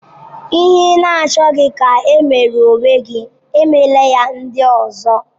Ihe ị na-achọghị ka e meere onwe gị, emela ya ndị ọzọ.